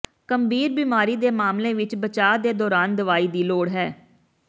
ਗੰਭੀਰ ਬੀਮਾਰੀ ਦੇ ਮਾਮਲੇ ਵਿਚ ਬਚਾਅ ਦੇ ਦੌਰਾਨ ਦਵਾਈ ਦੀ ਲੋੜ ਹੈ